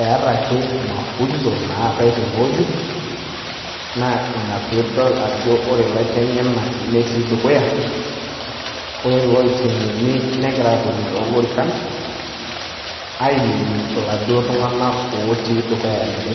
Eeta ake mafunzo naatai tenewueji, naa ina piidol ajo ore ilaiteng'enak netii dukuya ore ilooiteng'eni negira aatoni toolorikan ainining' iladuo tung'anak otii dukuya ninche.